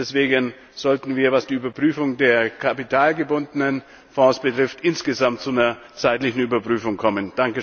Deswegen sollten wir, was die Überprüfung der kapitalgebundenen Fonds betrifft, insgesamt zu einer zeitlichen Überprüfung kommen.